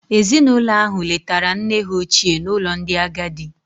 Ezinụlọ ahụ letara nne ha ochie n'ụlọ ndị agadi